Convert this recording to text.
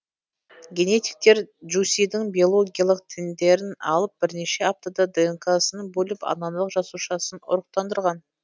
генетиктер джусидің биологиялық тіндерін алып бірнеше аптада днк сын бөліп аналық жасушасын ұрықтандырған